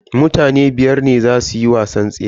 Mutane biyar ne zasu yi wasan tseran.